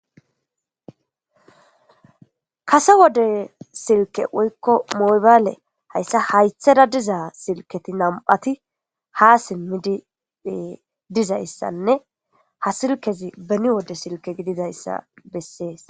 kase wode silke woykko mobaale hayssa haytheda dizaa silketi nam7ati ha simmidi dizayssanne ha silkezi beni wode silke gididayssa bessees